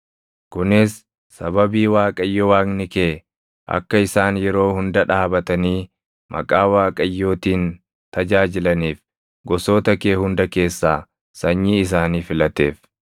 kunis sababii Waaqayyo Waaqni kee akka isaan yeroo hunda dhaabatanii maqaa Waaqayyootiin tajaajilaniif gosoota kee hunda keessaa sanyii isaanii filateef.